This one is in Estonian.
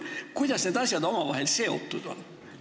Kuidas need asjad omavahel seotud on?